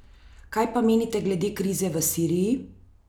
Kaj pa menite glede krize v Siriji?